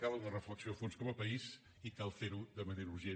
cal una reflexió a fons com a país i cal fer ho de manera urgent